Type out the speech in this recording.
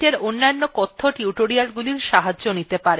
মনে রাখবেন যে linux case sensitive